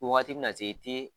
Ko wagati bɛna se i tɛ